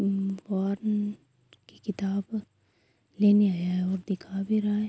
وار کی کتاب لینے آیا ہے اور دکھا بھی رہا ہے۔